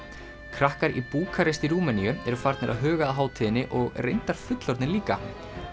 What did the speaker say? krakkar í Búkarest í Rúmeníu eru farnir að huga að hátíðinni og reyndar fullorðnir líka